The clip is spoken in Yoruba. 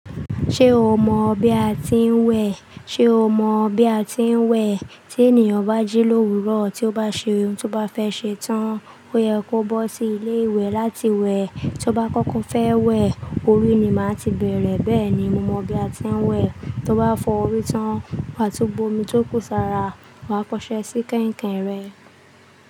Ṣé o mọ̀ bí a ti ń wẹ̀? Ti ènìyàn bá jí l'òwúrò tí ó bá ṣe ohun tí ó bá fẹ́ ṣe tán, ó yẹ kó bọ́ sí ilé ìwẹ̀ láti wẹ̀. Tí ó bá kókó fẹ́ wẹ̀, orí ni máa ti bẹ̀rẹ̀. Bẹ́ẹ̀ ni mo mọ bí a ti ń wẹ̀. Tí ó bá fọ́ orí tán, wàá tún bu omi tó kù sára, wà á fọṣẹ́ sí kẹ̀ǹkẹ̀n rẹ.